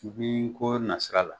U bi ko nasira la